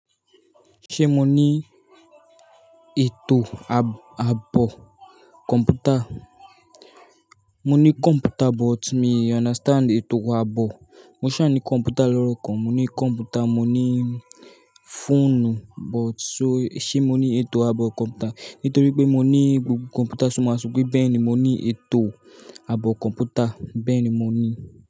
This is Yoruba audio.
Ṣé mo ní ètò àbọ̀ kọ̀mpútà? Mo ní kọ̀mpútà but mi o understand ètò abọ̀. Mo ṣà ní kọ̀mpútà lọ́rọ kan. Mo ní kọ̀mpútà, mo ní fóònù, but so ṣe mo ní ètò àbọ̀ kọ̀mpútà? Nítorí pé mo ní gbogbo kọ̀mpútà ṣùgbọ́n máa sọ pé bẹ́ẹ̀ni mo ní ètò àbọ̀ kọ̀mpútà, bẹ́ẹ̀ni mo ní.